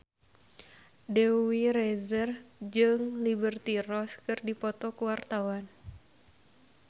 Dewi Rezer jeung Liberty Ross keur dipoto ku wartawan